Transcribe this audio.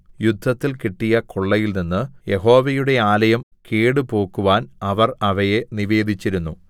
യുദ്ധത്തിൽ കിട്ടിയ കൊള്ളയിൽനിന്നു യഹോവയുടെ ആലയം കേടുപോക്കുവാൻ അവർ അവയെ നിവേദിച്ചിരുന്നു